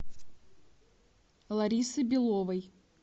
ларисы беловой